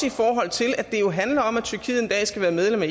i forhold til at det jo handler om at tyrkiet en dag skal være medlem af